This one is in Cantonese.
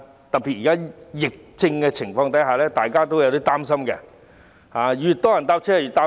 特別在現時疫情之下，大家也有點擔心，越多人乘車就越擔心。